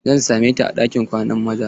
Zan same ta a ɗinkin kwanan maza.